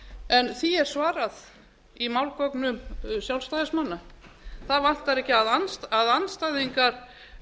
en því er svarað í málgögnum sjálfstæðismanna það vantar ekki að andstæðingar